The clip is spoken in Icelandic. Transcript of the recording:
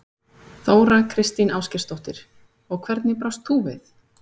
Þóra Kristín Ásgeirsdóttir: Og hvernig brást þú við?